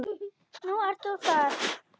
Nú ert þú þar.